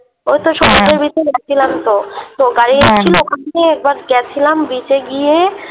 ওই তো হ্যাঁ সমুদ্রের Beach এ গেছিলামতো তো হ্যাঁ গাড়ি এসছিল ওখান থেকে এবার গেছিলাম Beach এ গিয়ে